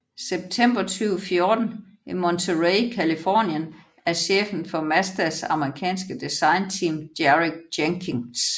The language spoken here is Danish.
September 2014 i Monterey Californien af chefen for Mazdas amerikanske designteam Derek Jenkins